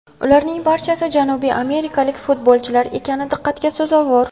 Ularning barchasi janubiy amerikalik futbolchilar ekani diqqatga sazovor.